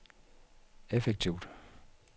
effektivt